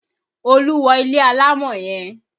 Olú wọ ilé alámọ̀ yẹn